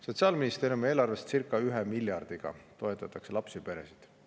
Sotsiaalministeeriumi eelarvest toetatakse lapsi ja peresid circa 1 miljardiga.